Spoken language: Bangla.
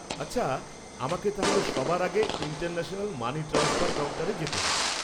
আচ্ছা, আমাকে তাহলে সবার আগে ইন্টারন্যাশনাল মানি ট্রান্সফার কাউন্টারে যেতে হবে?